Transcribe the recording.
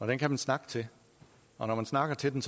den kan man snakke til og når man snakker til den